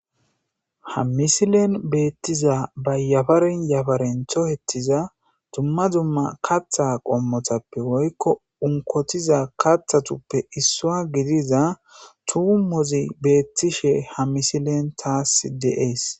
Ha misilen beettiza bayyafaren yafarentho hettiza dumma dumma katha qommotappe woykko unkotiza kathatuppe issua gidiza tuumozi beettishe ha misilen taas deees